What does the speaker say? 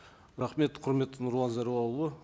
рахмет құрметті нұрлан зайроллаұлы